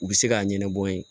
U bɛ se k'a ɲɛnabɔ n ye